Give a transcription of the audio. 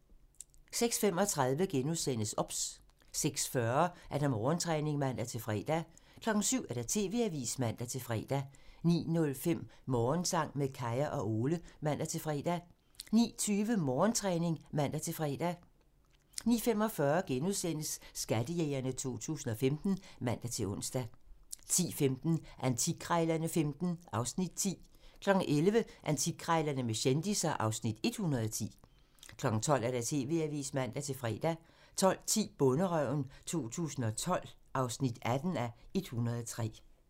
06:35: OBS * 06:40: Morgentræning (man-fre) 07:00: TV-avisen (man-fre) 09:05: Morgensang med Kaya og Ole (man-fre) 09:20: Morgentræning (man-fre) 09:45: Skattejægerne 2015 *(man-ons) 10:15: Antikkrejlerne XV (Afs. 10) 11:00: Antikkrejlerne med kendisser (Afs. 110) 12:00: TV-avisen (man-fre) 12:10: Bonderøven 2012 (18:103)